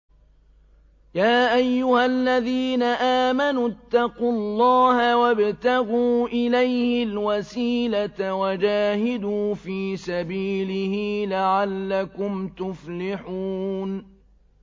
يَا أَيُّهَا الَّذِينَ آمَنُوا اتَّقُوا اللَّهَ وَابْتَغُوا إِلَيْهِ الْوَسِيلَةَ وَجَاهِدُوا فِي سَبِيلِهِ لَعَلَّكُمْ تُفْلِحُونَ